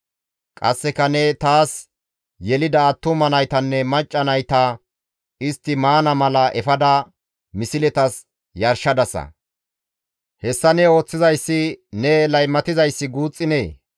«Qasseka ne taas yelida attuma naytanne macca nayta istti maana mala efada misletas yarshadasa. Hessa ne ooththizay ne laymatizayssi guuxxinee?